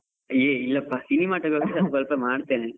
ಏಯ್ ಇಲ್ಲಪ್ಪ, ಸ್ವಲ್ಪ ಮಾಡ್ತೇನೆ.